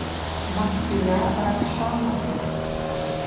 мавсиля равшановна